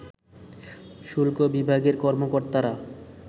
শুল্ক বিভাগের কর্মকর্তারা